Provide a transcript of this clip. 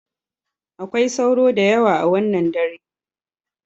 Akwai sauro da yawa a wannan dare.